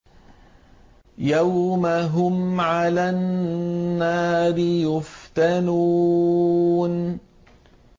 يَوْمَ هُمْ عَلَى النَّارِ يُفْتَنُونَ